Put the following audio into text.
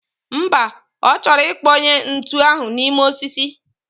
Mba, ochoro ikponye ntu ahu nime osisi